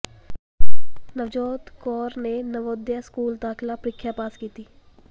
ਨਵਜੋਤ ਕੌਰ ਨੇ ਨਵੋਦਿਆ ਸਕੂਲ ਦਾਖ਼ਲਾ ਪ੍ਰੀਖਿਆ ਪਾਸ ਕੀਤੀ